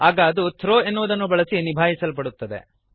ಆಗ ಅದು ಥ್ರೋ ಎನ್ನುವುದನ್ನು ಬಳಸಿ ನಿಭಾಯಿಸಲ್ಪಡುತ್ತದೆ